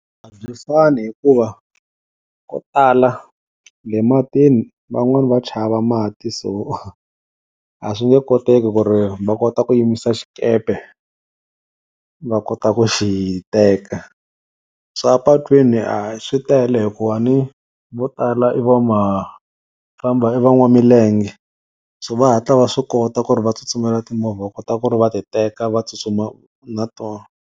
A byi fani hikuva ko tala le matini van'wani va chava mati, so a swi nge koteki ku ri va kota ku yimisa xikepe va kota ku xi teka. swa patwini swi tele hi ku a ni vo tala i va makhamba i van'wamilenge so va hatla va swi kota ku ri va tsutsumela timovha va kota ku ri va ti teka va tsutsuma na tona.